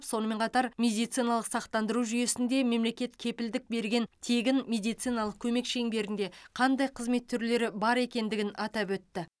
сонымен қатар медициналық сақтандыру жүйесінде мемлекет кепілдік берген тегін медициналық көмек шеңберінде қандай қызмет түрлері бар екендігін атап өтті